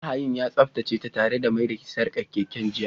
Mahayin ya tsaftace tare da mai da sarkar keken jiya